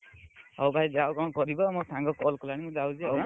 ହଉ ଭାଇ ଯାଅ କଣ କରିବ ମୋ ସାଙ୍ଗ call କଲାଣି ମୁଁ ଯାଉଛି ଆଉ ଆଁ?